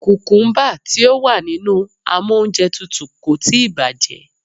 Kùkúmbà tí ó wà nínú amóúnjẹtutù kò tíì bàjẹ́.